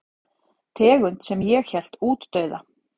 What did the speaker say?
Tegund sem ég hélt útdauða.